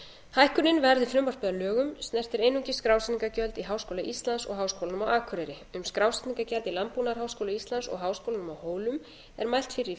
hækkunin verði frumvarpið að lögum snertir einungis skrásetningargjöld í háskóla íslands og háskólanum á akureyri um skrásetningargjald í landbúnaðarháskóla íslands og háskólanum á hólum er mælt fyrir í